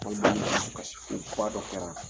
dɔ kɛra.